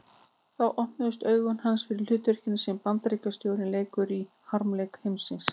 Þá opnuðust augu hans fyrir hlutverkinu sem Bandaríkjastjórn leikur í harmleik heimsins.